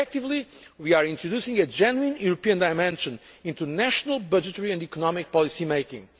Effectively, we are introducing a genuine European dimension into national budgetary and economic policy making.